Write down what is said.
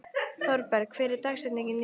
Thorberg, hver er dagsetningin í dag?